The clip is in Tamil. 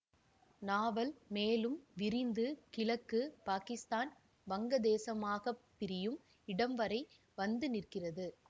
நாவல் மேலும் விரிந்து கிழக்கு பாகிஸ்தான் வங்கதேசமாகப் பிரியும் இடம் வரை வந்து நிற்கிறது